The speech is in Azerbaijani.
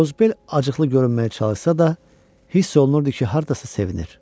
Qozbel acıqlı görünməyə çalışsa da, hiss olunurdu ki, hardasa sevinir.